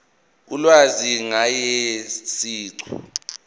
ulwazi ngaye siqu